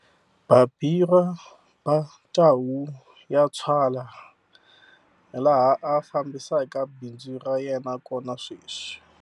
Babirwa Ba Tau Ya Tswala laha a fambisaka bindzu ra yena kona sweswi.